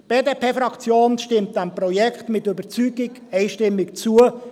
Die BDP-Fraktion stimmt diesem Projekt mit Überzeugung einstimmig zu.